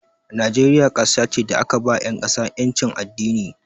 Najeriya kasa ce da aka ba 'yan ƙasa 'yancin addini.